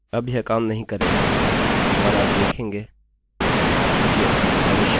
इसका कारण आपका शुरुआती नंबरnumber है